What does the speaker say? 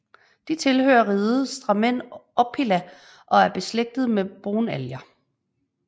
De tilhører riget Stramenopila og er beslægtet med brunalger